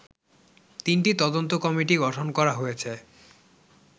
তিনটি তদন্ত কমিটি গঠনকরা হয়েছে